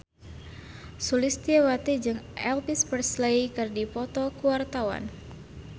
Sulistyowati jeung Elvis Presley keur dipoto ku wartawan